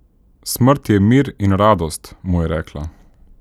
Smrt je mir in radost, mu je rekla.